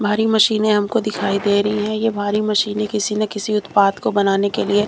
भारी मशीनें हमको दिखाई दे रही हैं ये भारी मशीनें किसी ने किसी उत्पाद को बनाने के लिए--